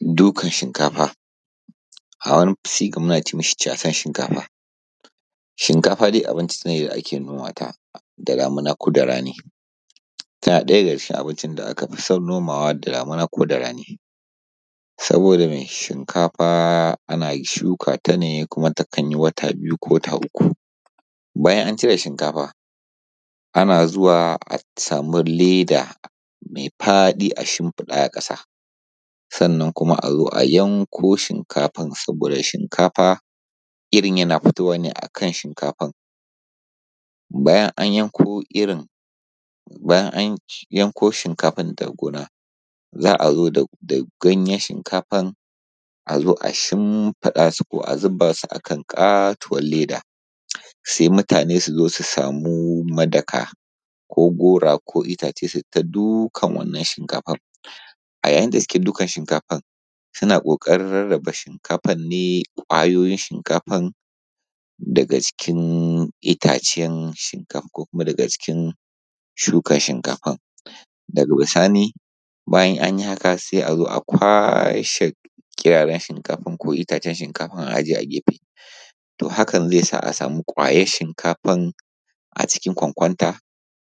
Dukan shinkafa. A wani sigan muna ce mashi casan shinkafa, shinkafa dai abinci ne da ake noma ta da damana koda rani tana ɗaya daga cikin abinci da aka fi son nomawa da damina ko da rani. Saboda me Shinkafa ana shukata ne kuma takan yi wata biyu ko wata uku bayan an cire shinkafa ana zuwa a sama leda mai paɗi a shinfiɗa a ƙasa sannan kuma a zo a yanko shinkafan saboda Shinkafa irin na fitowa ne a kan shinkafan. Bayan an yanko irin bayan an yanko shinkafan daga gona za a zo da da ganyen shinkafan a zo a shinfiɗa su ko a zuba su kan ƙatuwan leda sai mutane su zo su samu madaka ko gora ko itace su su ta dukan wannan shinkafa a yayin da suke dukar shinkafan suna ƙoƙarin rarraba shinkafar ne ƙwayoyin shinkafar daga jikin itacen shinkafa ko kuma daga jikin shukar shinkafan. Daga bisani bayan an yi haka sai a zo a kwace kiraren shinkafar ko itacen shinkafar a ajiye a gefe to hakan zai sa a sama ƙwayar shinkafan a cikin kwankwanta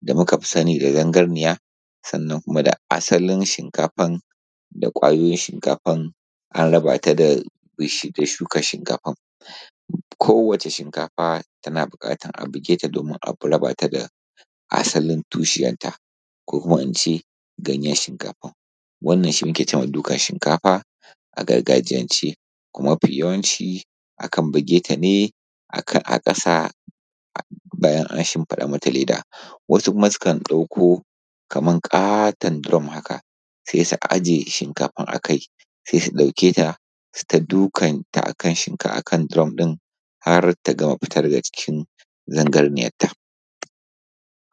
da muka fi sani da zangarniya Sannan kuma da asalin shinkafar da ƙwayoyin shinkafar an raba ta da shuka shinkafar. Kowace shinkafa tana buƙatar a buge ta domin a raba ta da asalin tushiyanta konkuma ina ce ganyen shinkafar. Wannan shi muke ce ma dukan shinkafa a gargajiyance kuma mafi yawanci akan buge ta ne a ka a ƙasa bayan an shinfiɗa mata leda wasu kuma sukan ɗauko kamar ƙaton drum haka sai su ajiye shinkafan a kai sai su ɗauke ta su ta dukkanta a kan shinka akan drum din har ta gama fitar da jikin zangarniyar ta.